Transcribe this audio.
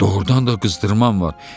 Doğrudan da qızdırmam var.